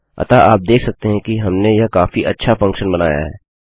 अतः आप देख सकते हैं कि हमने यह काफी अच्छा फंक्शन बनाया है